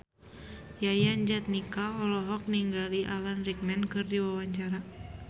Yayan Jatnika olohok ningali Alan Rickman keur diwawancara